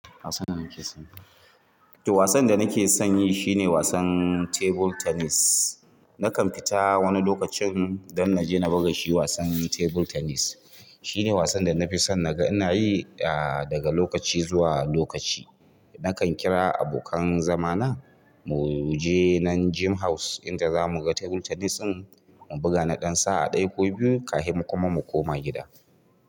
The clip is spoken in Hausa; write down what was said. Wasan da nake son yi shine wasan table tennis. Nakan fita wani lokacin don na je na buga shi wasan table tennis. Shine wasan da na fi son na ga ina yi daga lokaci zuwa lokaci. Nakan kira abokan zama na mu je nan gym house inda za mu ga table tennis ɗin mu buga na ɗan sa'a ɗaya ko biyu kafin kuma mu koma gida.